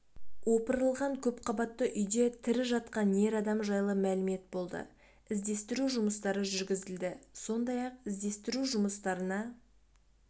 опырылған көпқабатты үйде тірі жатқан ер адам жайлы мәлімет болды іздестіру жұмыстары жүргізілді сондай-ақ іздестіру жұмыстарына